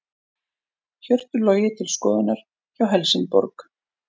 Hjörtur Logi til skoðunar hjá Helsingborg